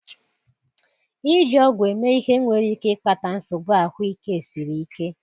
iji ọgwụ eme ihe nwere ike ịkpata nsogbu ahụike siri ike.